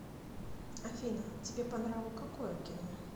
афина тебе по нраву какое кино